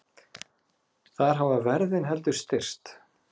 Þar hafa verðin heldur styrkst.